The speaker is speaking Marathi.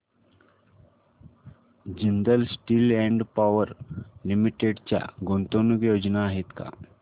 Jindal steel and power limited च्या गुंतवणूक योजना आहेत का